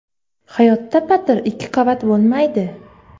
Hayotda patir ikki qavat bo‘lmaydi.